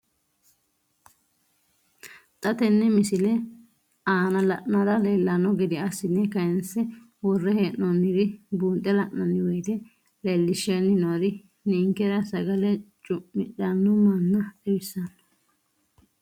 Xa tenne missile aana la'nara leellanno gede assine kayiinse worre hee'noonniri buunxe la'nanni woyiite leellishshanni noori ninkera sagale cu'midhanno manna xawissanno.